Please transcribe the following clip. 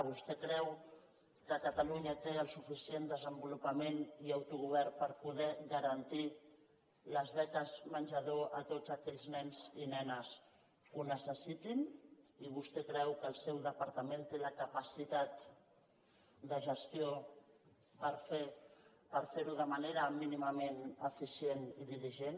vostè creu que catalunya té el suficient desenvolupament i autogovern per poder garantir les beques menjador a tots aquells nens i nenes que ho necessitin i vostè creu que el seu departament té la capacitat de gestió per fer ho de manera mínimament eficient i diligent